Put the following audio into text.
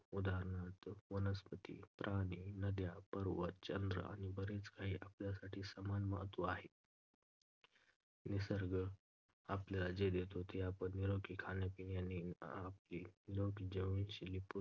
उदाहरणार्थ, वनस्पती, प्राणी, नद्या, पर्वत, चंद्र आणि बरेच काही आपल्यासाठी समान महत्त्व आहे. निसर्ग आपल्याला जे देतो ते आपण निरोगी खाण्यापिण्याने आपली निरोगी जीवनशैली पूर्ण